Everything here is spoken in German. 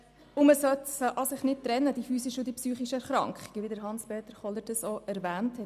Man kann die physischen und die psychischen Erkrankungen nicht trennen, wie Grossrat Kohler bereits erwähnt hat.